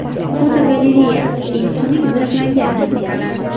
Fotogalereya: Eng xunuk zirhlangan texnikalar.